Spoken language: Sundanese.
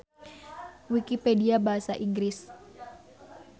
Wikipedia Basa Inggris.